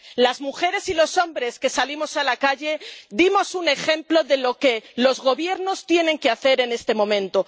Las mujeres y los hombres que salimos a la calle dimos un ejemplo de lo que los Gobiernos tienen que hacer en este momento.